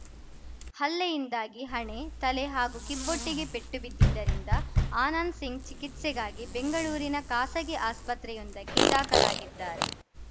ಹಲ್ಲೆಯಿಂದಾಗಿ ಹಣೆ ತಲೆ ಹಾಗೂ ಕಿಬ್ಬೊಟ್ಟೆಗೆ ಪೆಟ್ಟು ಬಿದ್ದಿದ್ದರಿಂದ ಆನಂದ್‌ ಸಿಂಗ್‌ ಚಿಕಿತ್ಸೆಗಾಗಿ ಬೆಂಗಳೂರಿನ ಖಾಸಗಿ ಆಸ್ಪತ್ರೆಯೊಂದಕ್ಕೆ ದಾಖಲಾಗಿದ್ದಾರೆ